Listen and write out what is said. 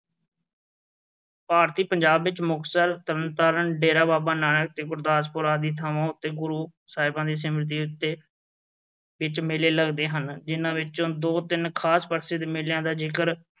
ਭਾਰਤੀ ਪੰਜਾਬ ਵਿੱਚ ਮੁਕਤਸਰ, ਤਰਨ ਤਾਰਨ, ਡੇਰਾ ਬਾਬਾ ਨਾਨਕ ਅਤੇ ਗੁਰਦਾਸਪੁਰ ਆਦਿ ਥਾਵਾਂ ਉੱਤੇ ਗੁਰੂ ਸਾਹਿਬਾਂ ਦੀ ਸਮ੍ਰਿਤੀ ਵਿੱਚ ਮੇਲੇ ਲੱਗਦੇ ਹਨ, ਜਿੰਨ੍ਹਾਂ ਵਿੱਚੋ ਦੋ ਚਾਰ ਖਾਸ ਦੇ ਮੇਲਿਆਂ ਦਾ ਜ਼ਿਕਰ